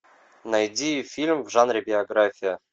найди фильм в жанре биография